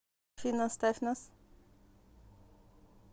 афина оставь нас